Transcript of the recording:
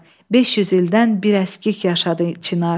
500 ildən bir əskik yaşadı Çinar.